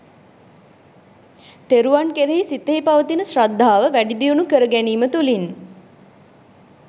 තෙරුවන් කෙරෙහි සිතෙහි පවතින ශ්‍රද්ධාව වැඩිදියුණු කරගැනීම තුළින්